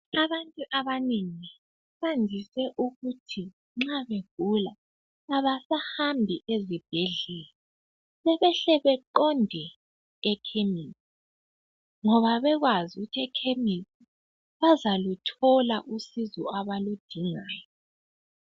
Abantu abanengi, bandise ukuthi nxa begula, abasahambi ezibhedlela sebehle beqonde ekhemesi ngoba bakwazi ukuthi ekhemisi bazaluthola usizo abaludingayo.